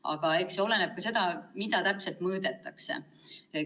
Aga eks kõik oleneb ka sellest, mida täpselt mõõdetakse.